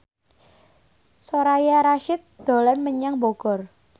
Soraya Rasyid dolan menyang Bogor